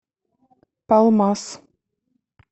палмас